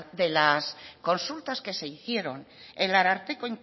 de las consultas que se hicieron el ararteko